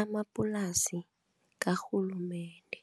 amapulasi karhulumende.